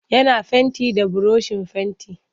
Yana fenti da burushin fenti.